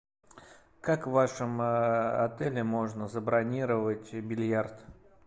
как в вашем отеле можно забронировать бильярд